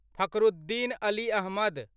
Fakhruddin Ali Ahmad